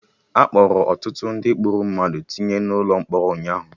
Akpọrọ ọtụtụ ndị gburu mmadụ tinye na ụlọ mkpọrọ ụnyaahụ